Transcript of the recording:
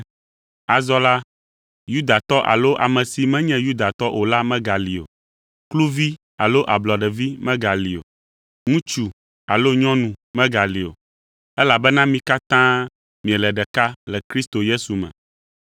Azɔ la, Yudatɔ alo ame si menye Yudatɔ o la megali o; kluvi alo ablɔɖevi megali o; ŋutsu alo nyɔnu megali o; elabena mi katã miele ɖeka le Kristo Yesu me.